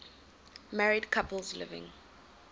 married couples living